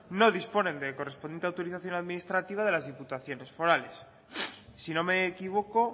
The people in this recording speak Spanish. no disponen de la correspondiente autorización administrativa de las diputaciones forales si no me equivoco